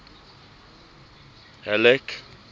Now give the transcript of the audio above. halleck